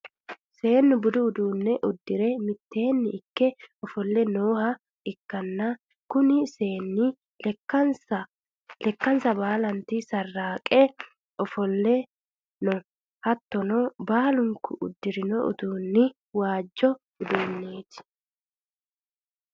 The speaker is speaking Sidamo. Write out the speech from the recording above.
seennu budu uduunne uddire miteenni ikke ofo'le nooha ikkanna, kuni seennino lekkansa baalanti sarraaqire ofo'le no. hattono baalunku uddirino uddano waajo uddanooti.